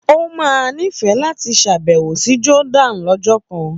Ó máa nífẹ̀ẹ́ láti ṣàbẹ̀wò sí Jordan lọ́jọ́ kan.